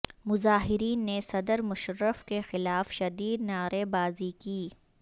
مظاہرین نے صدر مشرف کے خلاف شدید نعرے بازی کی